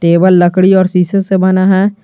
Table लकड़ी और शीशे से बना है।